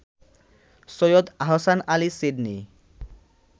Syed Ahsan Ali Sydney